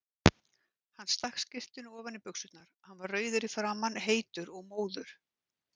Hann stakk skyrtunni ofan í buxurnar, hann var rauður í framan, heitur og móður.